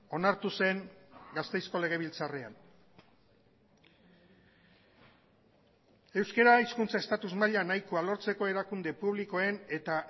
onartu zen gasteizko legebiltzarrean euskara hizkuntza estatus maila nahikoa lortzeko erakunde publikoen eta